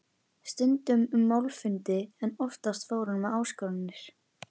Stundum um málfundi en oftast fór hann með áskoranir.